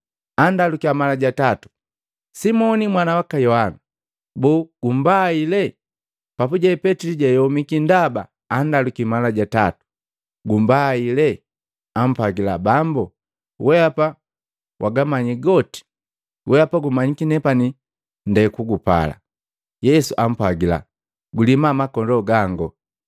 Andalukiya mala ja tatu, “Simoni mwana waka Yohana! Boo gumbaile?” Papuje Petili jayomika ndaba andalukiya mala ja tatu. “Gumbaile?” Ampwagila, “Bambu, wehapa wagamanyi goti, wehapa gumanyiki nepani nde kugupala.” Yesu ampwagila, “Gulima makondoo gangu!”